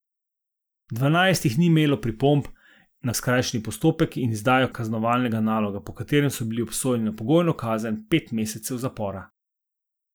Dvanajst jih ni imelo pripomb na skrajšani postopek in izdajo kaznovalnega naloga, po katerem so bili obsojeni na pogojno kazen pet mesecev zapora.